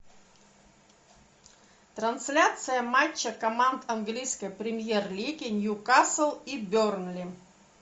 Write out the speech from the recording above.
трансляция матча команд английской премьер лиги ньюкасл и бернли